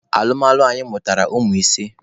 Alụmalụ anyị mụtara ụmụ ise.